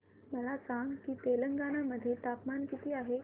मला सांगा की तेलंगाणा मध्ये तापमान किती आहे